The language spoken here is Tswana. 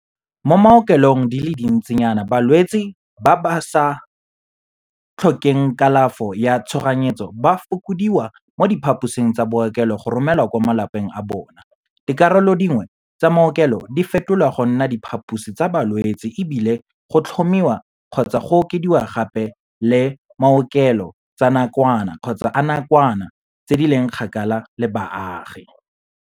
Mo maokelong di le dintsinyana balwetse ba ba sa tlhokeng kalafo ya tshoganyetso ba fokodiwa mo diphaposing tsa bookelo go romelwa kwa malapeng a bona, dikarolo dingwe tsa maokelo di fetolwa go nna diphaposi tsa balwetse e bile go tlhomiwa kgotsa go okediwa gape le maokelo tsa nakwana tse di leng kgakala le baagi.